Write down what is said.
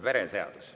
Vereseadus.